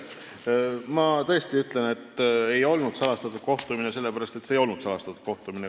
Ma tõesti ütlen, et see ei olnud salastatud kohtumine, sellepärast et see ei olnud salastatud kohtumine.